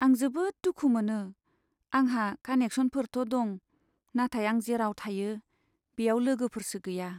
आं जोबोद दुखु मोनो, आंहा कानेक्सनफोरथ' दं नाथाय आं जेराव थायो बेयाव लोगोफोरसो गैया।